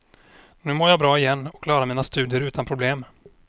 Nu mår jag bra igen och klarar mina studier utan problem.